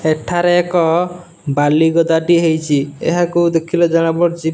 ଏଠାରେ ଏକ ବାଲି ଗଦାଟିଏ ହେଇଚି ଏହାକୁ ଦେଖିଲେ ଜଣା ପଡ଼ୁଚି --